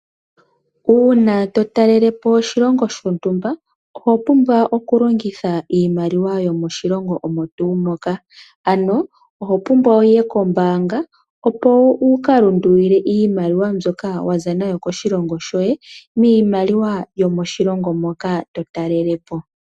Uuna totalelepo oshilongo shontumba oho pumbwa okulongitha iimaliwa yomoshilongo omo tuu moka, ano ohopumbwa wuye kombaanga opo wuka lundulule iimaliwa mbyoka waza nayo koshilongo shoye miimaliwa yomoshilongo moka to talelepo